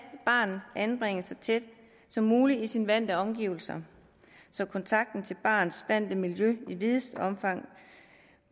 barnet anbringes så tæt som muligt på sine vante omgivelser så kontakten til barnets vante miljø i videst